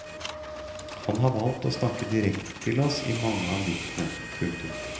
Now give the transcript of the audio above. Han har valgt å snakke direkte til oss i mange av diktene. punktum